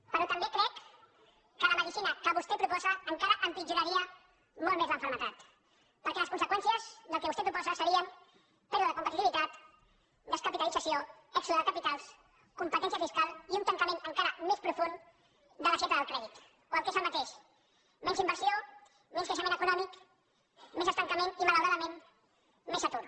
però també crec que la medicina que vostè proposa encara empitjoraria molt més la malaltia perquè les conseqüències del que vostè proposa serien pèrdua de compe titivitat descapitalització èxode de capitals competència fiscal i un tancament encara més profund de l’aixeta del crèdit o el que és el mateix menys inversió menys creixement econòmic més estancament i malauradament més atur